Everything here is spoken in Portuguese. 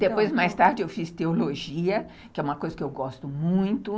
Depois, mais tarde, eu fiz teologia, que é uma coisa que eu gosto muito.